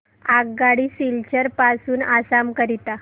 आगगाडी सिलचर पासून आसाम करीता